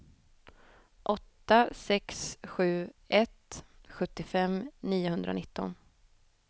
åtta sex sju ett sjuttiofem niohundranitton